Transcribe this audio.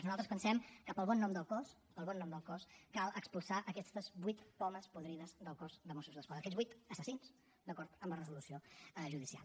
nosaltres pensem que pel bon nom del cos pel bon nom del cos cal expulsar aquestes vuit pomes podrides del cos de mossos d’esquadra aquests vuit assassins d’acord amb la resolució judicial